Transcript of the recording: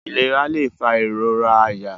Ilara lẹ fa irora àyà.